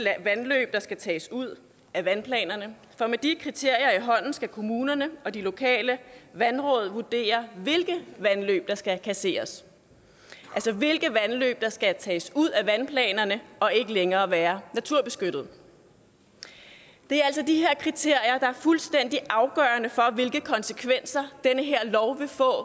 vandløb der skal tages ud af vandplanerne for med de kriterier i hånden skal kommunerne og de lokale vandråd vurdere hvilke vandløb der skal kasseres altså hvilke vandløb der skal tages ud af vandplanerne og ikke længere være naturbeskyttede det er altså de her kriterier der er fuldstændig afgørende for hvilke konsekvenser den her lov vil få